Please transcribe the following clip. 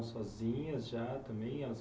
sozinhas já também, elas